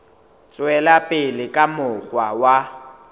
tswela pele ka mokgwa wa